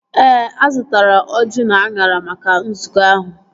Ee, azụtara ọjị na anyara maka nzukọ ahụ